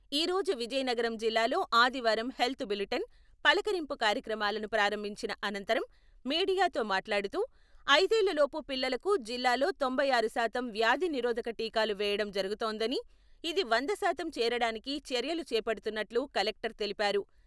ఈ రోజు విజయనగరం జిల్లాలో ఆదివారం హెల్త్ బులెటిన్, పలకరింపు కార్యక్రమాలను ప్రారంభించిన అనతరం మీడియతో మాట్లాడుతూ, ఐదేళ్ళ లోపు పిల్లలకు జిల్లాలో తొంభై ఆరు శాతం వ్యాధి నిరోధక టీకాలు వేయడం జరుగుతోందని, ఇది వంద శాతం చేరడానికి చర్యలు చేపడుతున్నట్లు కలెక్టర్ తెలిపారు.